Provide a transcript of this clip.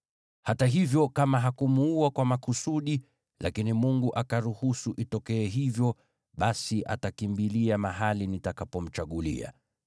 Hata hivyo, kama hakumuua kwa makusudi, lakini Mungu akaruhusu itendeke, basi atakimbilia mahali nitakapomchagulia.